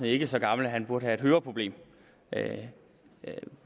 ikke så gammel at han burde have et høreproblem